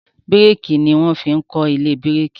biriki ní wan fín kọ ilé biriki